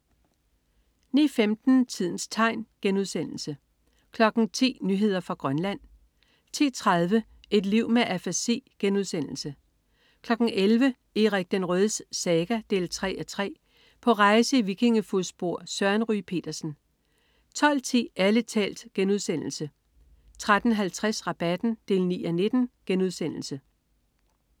09.15 Tidens tegn* 10.00 Nyheder fra Grønland 10.30 Et liv med afasi* 11.00 Erik den Rødes saga 3:3. På rejse i vikingefodspor. Søren Ryge Petersen 12.10 Ærlig talt* 13.50 Rabatten 9:19*